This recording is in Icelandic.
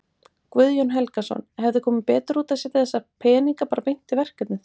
Guðjón Helgason: Hefði komið betur út að setja þessa peninga bara beint í verkefnið?